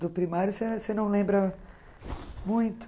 Do primário você você não lembra muito?